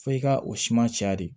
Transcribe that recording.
F'i ka o suma caya de